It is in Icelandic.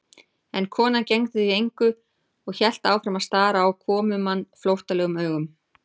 En konan gegndi því engu og hélt áfram að stara á komumann flóttalegum augum.